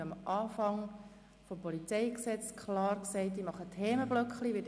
Ich habe zu Beginn der Beratungen des PolG klar gesagt, dass ich Themenblöcke bilden werde.